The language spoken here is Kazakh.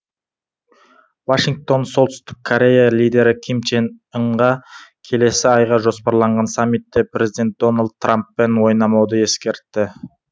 вашингтон солтүстік корея лидері ким чен ынға келесі айға жоспарланған саммитте президент дональд трамппен ойнамауды ескертті